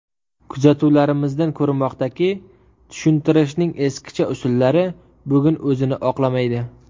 Kuzatuvlarimizdan ko‘rinmoqdaki, tushuntirishning eskicha usullari bugun o‘zini oqlamaydi.